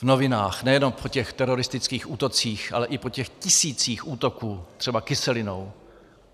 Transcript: V novinách, nejenom po těch teroristických útocích, ale i po těch tisících útoků, třeba kyselinou.